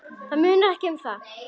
Það munar ekki um það.